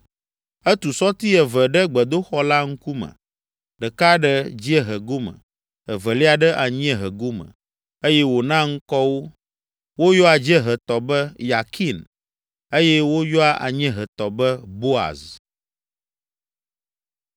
Etu sɔti eve ɖe gbedoxɔ la ŋkume, ɖeka ɖe dziehe gome, evelia ɖe anyiehe gome eye wòna ŋkɔ wo. Woyɔa dziehetɔ be, Yakin eye woyɔa anyiehetɔ be, Boaz.